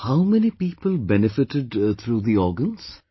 How many people benefitted through the organs